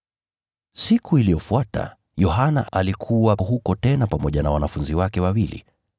Siku iliyofuata, Yohana alikuwa huko tena pamoja na wanafunzi wake wawili.